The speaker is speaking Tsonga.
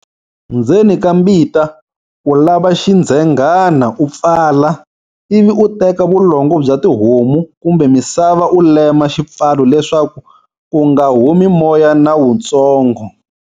Ndzeni ka mbita, u lava xindzhenghana u pfala, ivi u teka vulongo bya tihomu kumbe misava u lema xipfalo leswaku ku nga humi moya na wutsongo.